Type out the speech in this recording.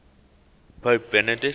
pope benedict